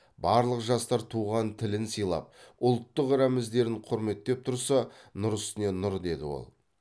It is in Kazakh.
барлық жастар туған тілін сыйлап ұлттық рәміздерін құрметтеп тұрса нұр үстіне нұр деді ол